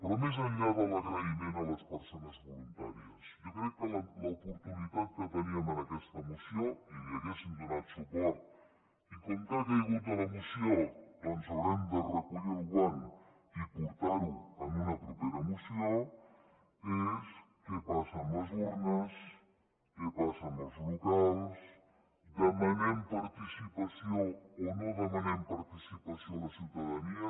però més enllà de l’agraïment a les persones voluntàries jo crec que l’oportunitat que teníem en aquesta moció i hi hauríem donat suport i com que ha caigut de la moció doncs haurem de recollir el guant i portar ho en una propera moció és què passa amb les urnes què passa amb els locals demanem participació o no demanem participació a la ciutadania